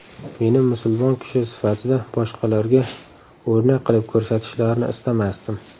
Meni musulmon kishi sifatida boshqalarga o‘rnak qilib ko‘rsatishlarini istamasdim.